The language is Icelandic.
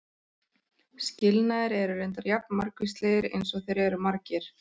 Skilnaðir eru reyndar jafn margvíslegir eins og þeir eru margir.